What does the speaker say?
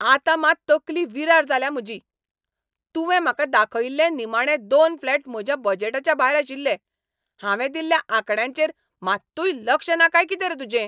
आतां मात तकली विरार जाल्या म्हजी. तुवें म्हाका दाखयिल्ले निमाणे दोन फ्लॅट म्हज्या बजेटाच्या भायर आशिल्ले. हांवें दिल्ल्या आंकड्यांचेर मात्तूय लक्ष ना काय कितें रे तुजें?